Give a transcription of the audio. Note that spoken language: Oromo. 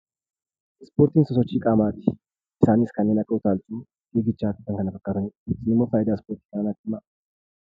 Ispoortiin sosochii qaamaati. Isaanis kanneen akka utaalchoo, fiigichaa fi kan kana fakkaatanidha. Isin immoo faayidaa Ispoortii ta'an natti himaa.